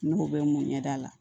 N'o bɛ mun ɲɛ da la